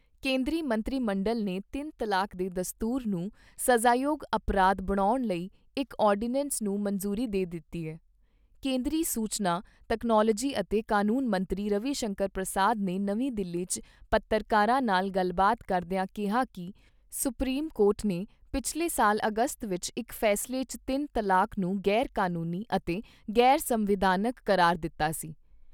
ਕੇਂਦਰੀ ਸੂਚਨਾ ਤਕਨਾਲੋਜੀ ਅਤੇ ਕਾਨੂੰਨ ਮੰਤਰੀ ਰਵੀ ਸ਼ੰਕਰ ਪ੍ਰਸਾਦ ਨੇ ਨਵੀਂ ਦਿੱਲੀ 'ਚ ਪੱਤਰਕਾਰਾਂ ਨਾਲ ਗੱਲਬਾਤ ਕਰਦਿਆਂ ਕਿਹਾ ਕਿ ਸੁਪਰੀਮ ਕੋਰਟ ਨੇ ਪਿਛਲੇ ਸਾਲ ਅਗਸਤ ਵਿਚ ਇਕ ਫੈਸਲੇ 'ਚ ਤਿੰਨ ਤਲਾਕ ਨੂੰ ਗ਼ੈਰ ਕਾਨੂੰਨੀ ਅਤੇ ਗ਼ੈਰ ਸੰਵਿਧਾਨਕ ਕਰਾਰ ਦਿੱਤਾ ਸੀ।